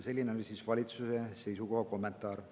Selline oli kommentaar valitsuse seisukoha kohta.